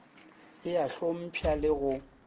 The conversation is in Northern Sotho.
e a hlompšha le go